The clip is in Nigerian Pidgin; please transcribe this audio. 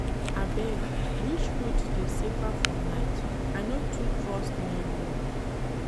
Abeg, which route dey safer for night? I no too trust main road.